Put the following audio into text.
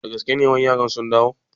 Da gaske ne wai yaran sun dawo?